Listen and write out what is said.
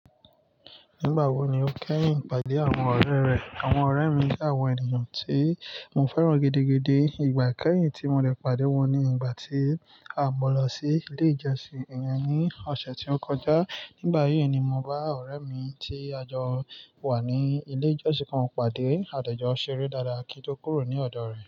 Nígbà wo ni o kẹ́yìn pàdé àwọn ọ̀rẹ́ rẹ? Àwọn ọ̀rẹ́ mi jẹ́ àwọn ènìyàn tí mo fẹ́ràn gidigidi, ìgbà kẹ́yìn tí mo de padà wọ́n ni ìgbà tí a mo lọ sí ilé ìjọsìn iyen ní ọ̀sẹ̀ tí ó kọjá. Nígbà yí ni mo bá ọ̀rẹ́ mi tí a jọ wà ní ilé ìjọsìn kan pàdé. Àde jọ́ ṣeré dáadáa kí n tó kúrò ní ọ̀dọ̀ rẹ̀